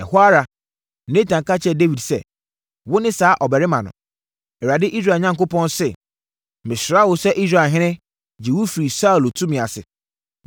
Ɛhɔ ara, Natan ka kyerɛɛ Dawid sɛ, “Wone saa ɔbarima no! Awurade, Israel Onyankopɔn, se, ‘Mesraa wo sɛ Israelhene, gyee wo firii Saulo tumi ase.